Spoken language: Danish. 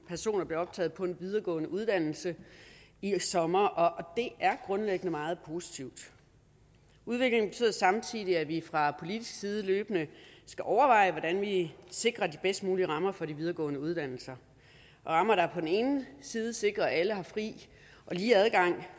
personer blev optaget på en videregående uddannelse i sommer og det er grundlæggende meget positivt udviklingen betyder samtidig at vi fra politisk side løbende skal overveje hvordan vi sikrer de bedst mulige rammer for de videregående uddannelser rammer der på den ene side sikrer at alle har fri og lige adgang